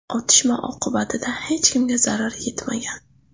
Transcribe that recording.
Otishma oqibatida hech kimga zarar yetmagan.